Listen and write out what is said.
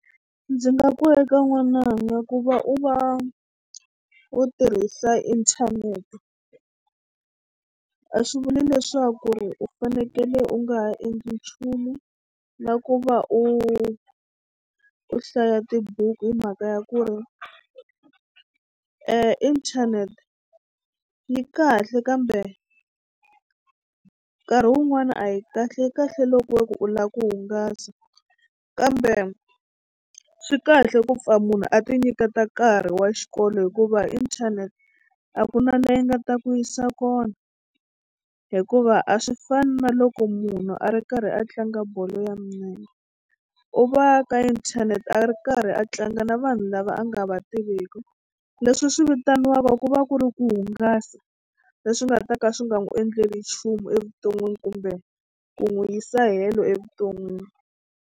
Ndzi nga ku eka n'wananga ku va u va u tirhisa inthanete a swi vuli leswaku ri u fanekele u nga ha endli nchumu na ku va u u hlaya tibuku hi mhaka ya ku ri e inthanete yi kahle kambe nkarhi wun'wana a yi kahle yi kahle loko ku u lava ku hungasa kambe swi kahle ku pfa munhu a tinyiketa nkarhi wa xikolo hikuva inthanete a ku na la yi nga ta ku yisa kona hikuva a swi fani na loko munhu a ri karhi a tlanga bolo ya milenge u va ka inthanete a ri karhi a tlanga na vanhu lava a nga va tiviki leswi swi vitaniwaku ku va ku ri ku hungasa leswi nga ta ka swi nga n'wu endleli nchumu evuton'wini kumbe ku n'wi yisa helo evuton'wini.